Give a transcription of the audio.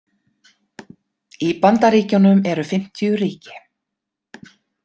Í Bandaríkjunum eru fimmtíu ríki.